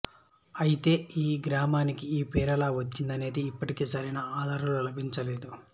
అయతే ఈ గ్రామానికి ఈ పేరెలా వచ్చిందనేది ఇప్పటికీ సరైన ఆధారాలు లభించలేదు